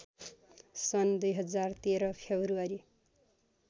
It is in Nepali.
सन् २०१३ फेब्रुअरी